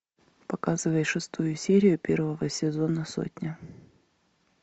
показывай шестую серию первого сезона сотня